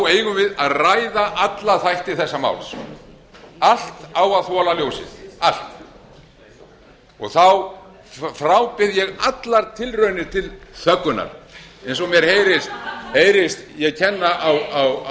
eigum við að ræða alla þætti þessa máls allt á að þola ljósið allt þá frábið ég allar tilraunir til þöggunar eins og mér heyrist ég